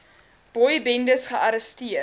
boy bendes gearresteer